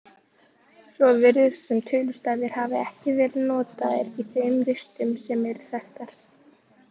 Svo virðist sem tölustafir hafi ekki verið notaðir í þeim ristum sem eru þekktar.